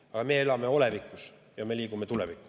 Aga meie elame olevikus ja me liigume tulevikku.